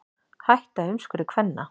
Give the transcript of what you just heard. Hætta umskurði kvenna